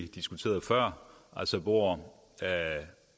diskuteret før hvor